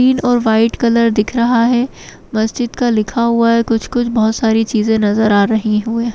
ग्रीन और white colour दिख रहा है मस्जिद का लिखा हुआ है कुछ कुछ बहोत सारी चीज़े नज़र आ रही हुए ।